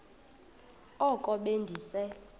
oko be ndise